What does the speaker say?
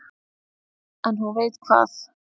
En hún veit hvað